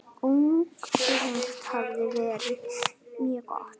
Unglingastarfið virðist vera mjög gott.